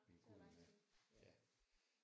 Det er lang tid